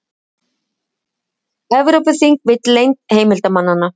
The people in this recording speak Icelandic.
Evrópuþing vill leynd heimildamanna